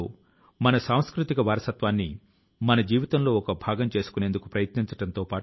మరో జంక్యార్డ్ ను ద్విచక్ర వాహనాలు నిలిపేందుకు పార్కింగ్ ప్రాంతం గా మార్చారు